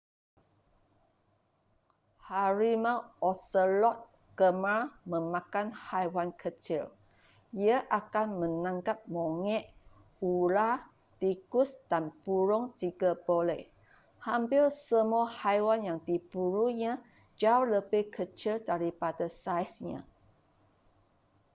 harimau oselot gemar memakan haiwan kecil ia akan menangkap monyet ular tikus dan burung jika boleh hampir semua haiwan yang diburunya jauh lebih kecil daripada saiznya